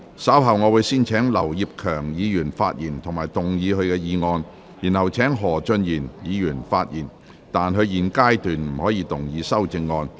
稍後我會先請劉業強議員發言及動議議案，然後請何俊賢議員發言，但他在現階段不可動議修正案。